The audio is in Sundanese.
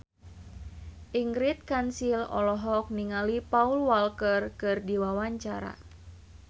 Ingrid Kansil olohok ningali Paul Walker keur diwawancara